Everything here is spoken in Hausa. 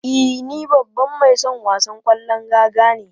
E, ni babban mai son wasan kwallon raga ne.